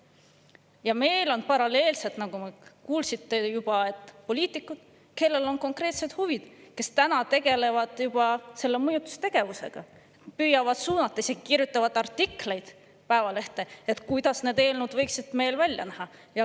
Ja meil on paralleelselt, nagu kuulsite juba, poliitikud, kellel on konkreetsed huvid ning kes tegelevad juba mõjutustegevusega, püüavad suunata ja isegi kirjutavad Päevalehte artikleid sellest, kuidas need eelnõud võiksid välja näha.